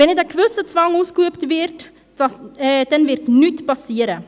Wenn nicht ein gewisser Zwang ausgeübt wird, wird nichts geschehen.